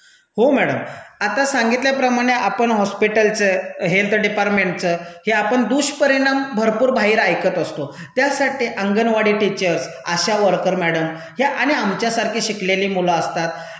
हो मैडम. आता सांगित्यलाप्रमाणे आपण हॉस्पिटलचं, हेल्थ डिपार्टमेंटचं हे आपण दुष्परिणाम भरपूर बाहेर ऐकत असतो, त्यासाठी anganwadi teachers ASHA worker madam ह्या आणि आमच्यासारखी शिकलेली मूलं असतात,